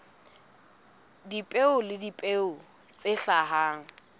dipeo le dipeo tse hlahang